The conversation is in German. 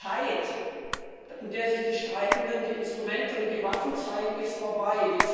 Die Zeit, in der sich die Streitenden die Instrumente und die Waffen zeigen, ist vorbei.